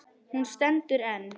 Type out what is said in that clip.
Hún stendur enn.